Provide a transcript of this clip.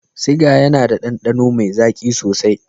Siga yAna da dandano me zaki sosai